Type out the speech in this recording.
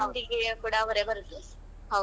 मेहँदी ಕೂಡ ಅವರೇ ಬರುದು.